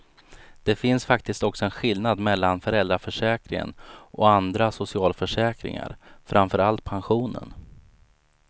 Det finns faktiskt också en skillnad mellan föräldraförsäkringen och andra socialförsäkringar, framför allt pensionen.